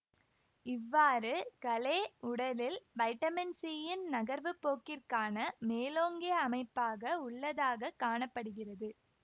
இவ்வாறு களே உடலில் வைட்டமின் சியின் நகர்வு போக்கிற்கான மேலோங்கிய அமைப்பாக உள்ளதாக காண படுகிறது